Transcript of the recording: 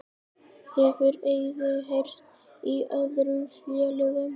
Hefur Eiður heyrt í öðrum félögum?